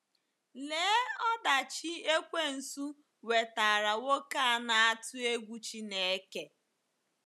Lee ọdachi ekwensu wetaara nwoke a na-atụ egwu Chineke!